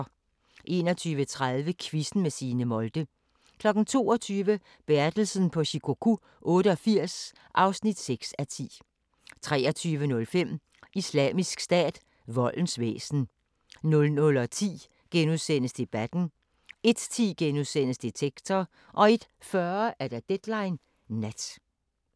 21:30: Quizzen med Signe Molde 22:00: Bertelsen på Shikoku 88 (6:10) 23:05: Islamisk Stat – voldens væsen 00:10: Debatten * 01:10: Detektor * 01:40: Deadline Nat